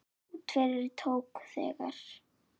Út yfir tók þegar